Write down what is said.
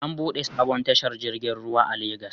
An buɗe sabon tashar jirgin ruwa a Legas